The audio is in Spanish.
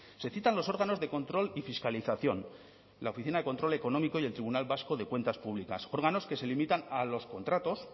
se citan los órganos de control y fiscalización la oficina de control económico y el tribunal vasco de cuentas públicas órganos que se limitan a los contratos